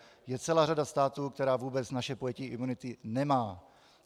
Je celá řada států, které vůbec naše pojetí imunity nemají.